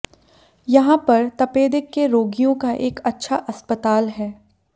यहां पर तपेदिक के रोगियों का एक अच्छा अस्पताल है